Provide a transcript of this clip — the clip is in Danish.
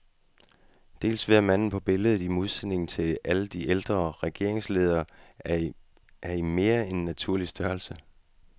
Dels ved at manden på billedet, i modsætning til alle de ældre regeringsledere, er i mere end naturlig størrelse.